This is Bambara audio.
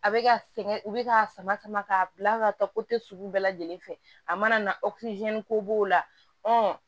A bɛ ka sɛgɛn u bɛ k'a sama sama k'a bila ka taa sugu bɛɛ lajɛlen fɛ a mana na ko b'o la